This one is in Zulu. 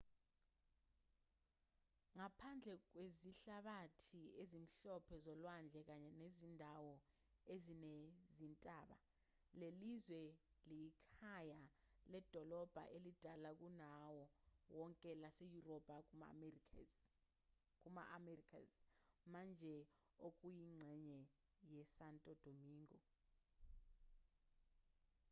ngaphandle kwezihlabathi ezimhlophe zolwandle kanye nezindawo ezinezintaba lelizwe liyikhaya ledolobha elidala kunawo wonke laseyurophu kuma-americas manje okuyingxenye yesanto domingo